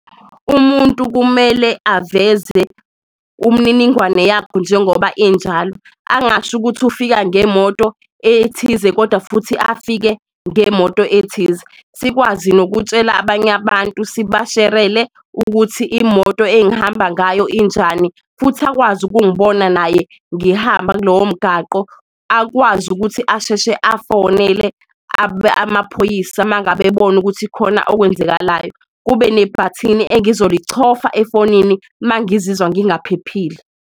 Umuntu kumele aveze umniningwane yakho njengoba injalo angasho ukuthi ufika ngemoto ethize, kodwa futhi afike ngemoto ethize. Sikwazi nokutshela abanye abantu sibasherele ukuthi imoto engihamba ngayo injani futhi akwazi ukungibona naye ngihamba kulowo mgaqo akwazi ukuthi asheshe afonele amaphoyisa mangabe ebona ukuthi khona okwenzakalayo. Kube nebhathini engizolichofa efonini mangizizwa ngingaphephile.